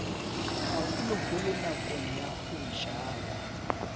haholoholo nakong ya ho jala